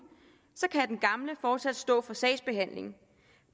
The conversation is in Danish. kan den gamle fortsat stå for sagsbehandlingen